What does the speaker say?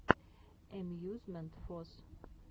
эмьюзмент фос